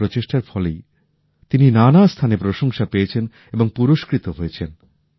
তার এই প্রচেষ্টার ফলেই তিনি নানা স্থানে প্রশংসা পেয়েছেন এবং পুরস্কৃত হয়েছেন